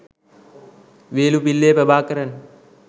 Velupillai Prabhakaran